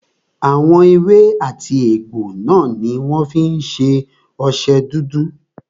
Àwọn èwe àti egbò náà ní wọ́n fí ń ṣe ọṣẹ dúdú.